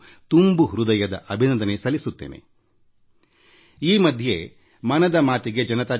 ಇತ್ತೀಚಿನ ದಿನಗಳಲ್ಲಿ ಮನ್ ಕಿ ಬಾತ್ ಮನದ ಮಾತಿಗೆNarendraModiApp MyGov